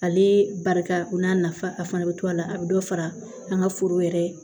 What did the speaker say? Ale barika o n'a nafa a fana be to a la a be dɔ fara an ka foro yɛrɛ